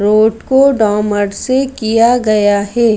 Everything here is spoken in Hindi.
रोड को डॉमर से किया गया है।